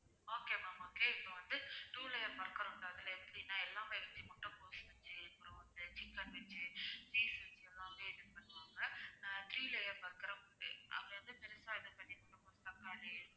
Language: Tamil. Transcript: okay ma'am okay இப்போ வந்து two layer burger அதுல எப்படின்னா எல்லாமே இருக்கு முட்டைகோஸு வச்சி அப்பறம் வந்து சிக்கன் வச்சி cheese three layer burger ம் உண்டு அது வந்து பெருசா இது பண்ணி தக்காளி